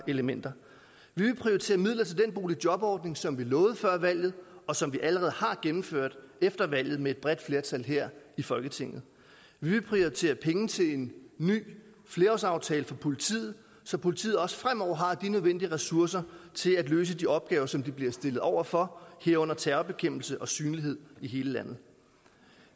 elementer vi vil prioritere midler til den boligjobordning som vi lovede før valget og som vi allerede har gennemført efter valget med et bredt flertal her i folketinget vi vil prioritere penge til en ny flerårsaftale for politiet så politiet også fremover har de nødvendige ressourcer til at løse de opgaver som de bliver stillet over for herunder terrorbekæmpelse og synlighed i hele landet